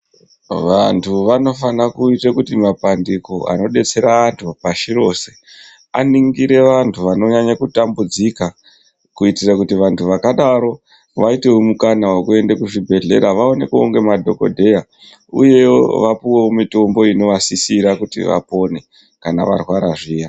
Vantu vanofana kuite kuti mapandiko anodetsera antu pashi rese, aningire vantu vanonyanye kutambudzika, kuitire kuti vantu vakadaro vaitewo mukana wekuenda kuzvibhedhlera. Vaonekwewo nemadhokodheya uye vapuwewo mutombo unovasisire kuti vapone kana varwara zviya.